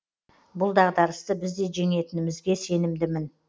бұл дағдарысты біз де жеңетінімізге сенімдімін